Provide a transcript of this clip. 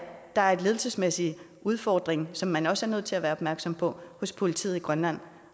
der er en ledelsesmæssig udfordring som man også er nødt til at være opmærksom på hos politiet i grønland